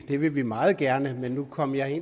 det vil vi meget gerne men nu kom jeg